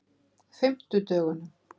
fimmtudögunum